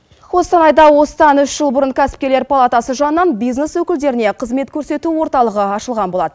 қостанайда осыдан үш жыл бұрын кәсіпкерлер палатасы жағынан бизнес өкілдеріне қызмет көрсету орталығы ашылған болатын